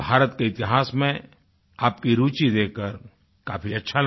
भारत के इतिहास में आपकी रूचि देखकर काफ़ी अच्छा लगा